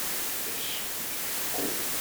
ищи ложный огонь